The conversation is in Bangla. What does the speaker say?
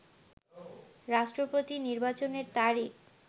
রাষ্ট্রপতি নির্বাচনের তারিখ